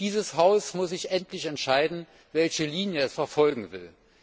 Dieses Haus muss sich endlich entscheiden, welche Linie es verfolgen will.